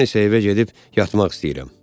Mən isə evə gedib yatmaq istəyirəm.